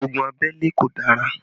Ogun abẹ́lé kò dára